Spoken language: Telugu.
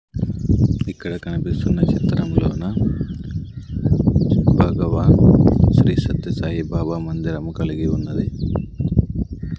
ఇక్కడ కనిపిస్తున్న చిత్రంలోన భగవాన్ శ్రీ సత్య సాయిబాబా మందిరం కలిగి ఉన్నది.